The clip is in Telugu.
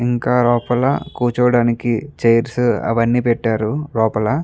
ఇంకా లోపల కురుచోడానికి చైర్స్ అవ్వని పెట్టారు లోపల --